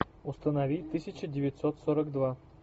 установи тысяча девятьсот сорок два